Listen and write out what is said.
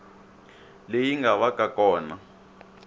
leyi nga va ka kona